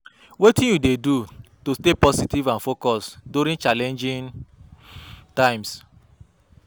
Wetin you dey do to stay positive and focused during challenging times?